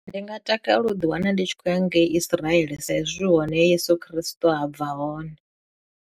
Ndi nga takalela u ḓi wana ndi tshi khou ya ngei Isiraele sa izwi hone he Yeso khristo ha bva hone.